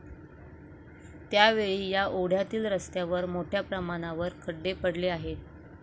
त्यावेळी या ओढ्यातील रस्त्यावर मोठ्या प्रमाणावर खड्डे पडले आहेत.